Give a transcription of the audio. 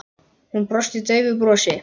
Hún brosti daufu brosi.